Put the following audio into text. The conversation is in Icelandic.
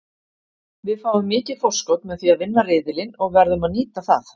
Við fáum mikið forskot með því að vinna riðilinn og verðum að nýta það.